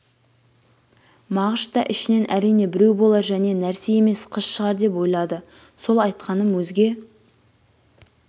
мағыш та ішінен әрине біреу болар және нәрсе емес қыз шығар деп ойлады сол айтқаным өзге